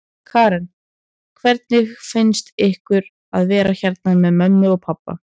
Karen: Hvernig finnst ykkur að vera hérna með mömmu og pabba?